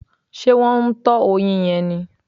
Ṣé wọ́n ń tọ oyin yẹn ni?